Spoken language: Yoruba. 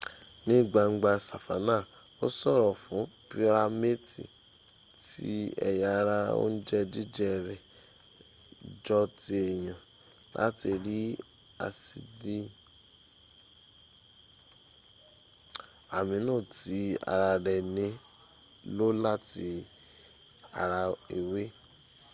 ní gbangba sàfánà ó ṣòro fún pírámètì tí ęya ara oúnjẹ́ jíję rẹ̀ jọ ti èyàn láti rí ásìdì amino tí ara rẹ̀ ní lò láti ara ewé